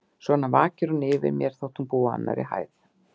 Svona vakir hún yfir mér, þótt hún búi á annarri hæð.